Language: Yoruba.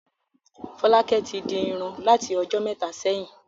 Fọ́lákẹ́ tí di irun láti ọjọ́ mẹ́ta sẹ́yìn.